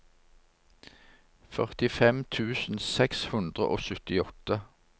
førtifem tusen seks hundre og syttiåtte